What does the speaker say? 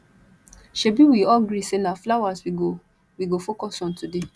shebi we all gree say na flowers we go we go focus on today